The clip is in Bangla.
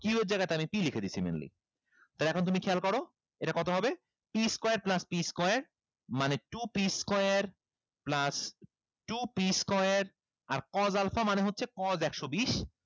q এর জায়গায় আমি p লিখে দিচ্ছি mainly তাইলে এখন তুমি খেয়াল করো এটা কত হবে p square plus p square মানে two p square plus two p square আর cos alpha মানে হচ্ছে cos একশো বিশ